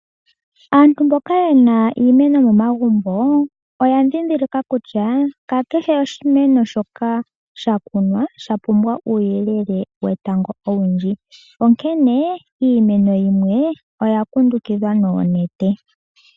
Aantu mboka yena iimeno momagumbo, oya ndhindhilika kutya ka kehe oshimeno shoka sha kunwa sha pumbwa uuyelele wetango owundji, onkene iimeno yimwe oya kundukidhwa noonete.